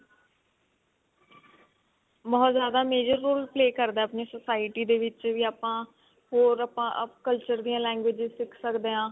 ਬਹੁਤ ਜ਼ਿਆਦਾ major roll play ਕਰਦਾ ਆਪਣੀ society ਦੇ ਵਿੱਚ ਵੀ ਆਪਾਂ ਹੋਰ ਆਪਾਂ culture ਦੀਆਂ languages ਸਿੱਖ ਸਕਦੇ ਹਾਂ